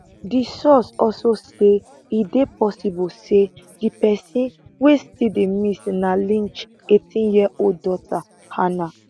di source also say e dey possible say di pesin wey still dey miss na lynch eighteen year old daughter hannah